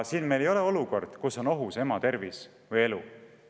Siin ei ole tegemist olukorraga, kus ema tervis või elu on ohus.